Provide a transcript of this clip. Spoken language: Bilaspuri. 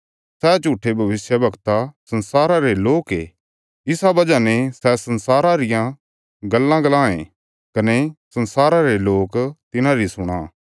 सै झूट्ठे भविष्यवक्ता संसारा रे लोक ये इसा वजह ने सै संसारा रियां गल्लां बोलां ए कने संसारा रे लोक तिन्हांरी सुणां